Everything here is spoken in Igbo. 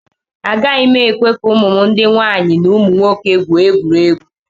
Agaghị m ekwe ka ụmụ m ndị nwaanyị na ụmụ nwoke gwuo egwuregwu